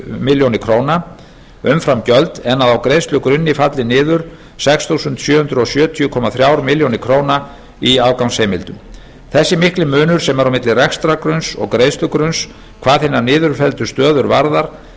milljónir króna umframgjöld en að á greiðslugrunni falli niður sex þúsund sjö hundruð sjötíu komma þremur milljónum króna í afgangsheimildum þessi mikli munur sem er á milli rekstrargrunns og greiðslugrunns hvað hinar niðurfelldu stöður varðar